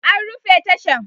An rufe tashan